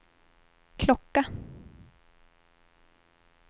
klocka